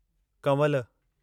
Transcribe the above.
Kanwal